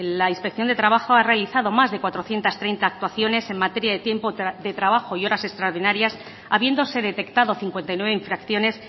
la inspección de trabajo ha realizado más de cuatrocientos treinta actuaciones en materia de tiempo de trabajo y horas extraordinarias habiéndose detectado cincuenta y nueve infracciones